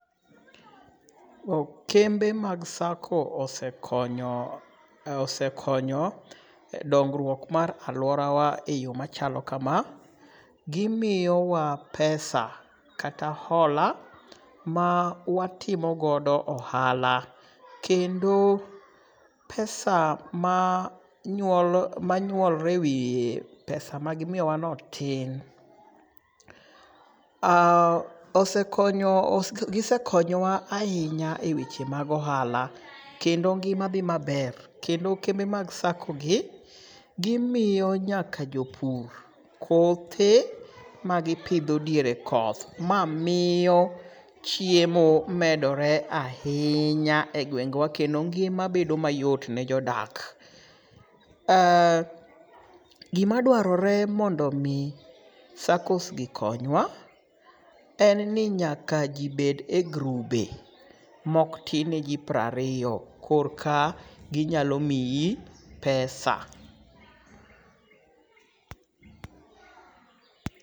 Kembe mag sako osekonyo dongruok mar alworawa e yo machalo kama. Gimiyowa pesa kata hola mawatimogodo ohala kendo pesa ma nyuolre e wiye pesa magimiyowano tin. Gisekonyowa ahinya e weche mag ohala kendo ngima dhi maber kendo kembe mag sako gi gimiyo nyaka jopur kothe magipidho diere koth ma miyo chiemo medore ahinya e gwengwa kendo ngima bedo mayot ne jodak. Gima dwarore mondo omi sakos gi konywa en ni nyaka ji bed e grube mok tin ne ji prariyo korka ginyalo miyi pesa.